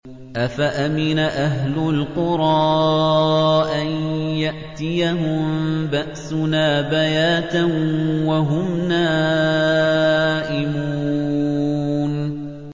أَفَأَمِنَ أَهْلُ الْقُرَىٰ أَن يَأْتِيَهُم بَأْسُنَا بَيَاتًا وَهُمْ نَائِمُونَ